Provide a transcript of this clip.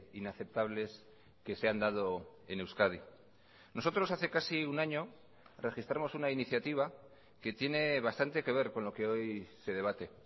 inaceptables que se han dado en euskadi nosotros hace casi un año registramos una iniciativa que tiene bastante que ver con lo que hoy se debate